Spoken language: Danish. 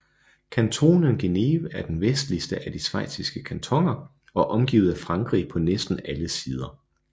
Kantonen Geneve er den vestligste af de schweiziske kantoner og omgivet af Frankrig på næsten alle sider